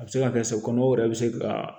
A bɛ se ka kɛ se kɔnɔw yɛrɛ bɛ se ka